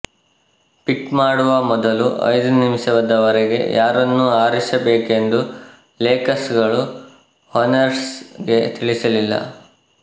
ಪಿಕ್ ಮಾಡುವ ಮೊದಲು ಐದು ನಿಮಿಷದವರೆಗೂ ಯಾರನ್ನು ಆರಿಸಬೇಕೆಂದು ಲೇಕರ್ಸ್ ಗಳು ಹೊರ್ನೆಟ್ಸ್ ಗೆ ತಿಳಿಸಲಿಲ್ಲ